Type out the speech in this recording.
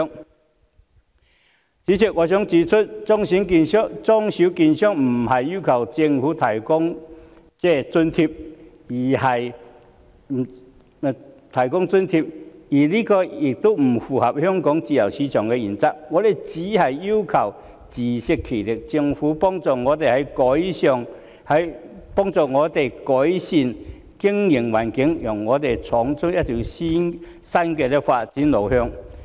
代理主席，我想指出，中小券商並非要求政府提供津貼，而這亦不符合香港自由市場的原則，我們只是要求自食其力，希望政府幫助我們改善經營環境，讓我們闖出一條新的發展路向。